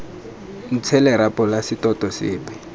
ntshe lerapo la setoto sepe